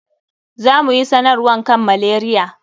Za mu yi sanarwan kan malaria.